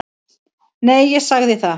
Nei, ég sagði það.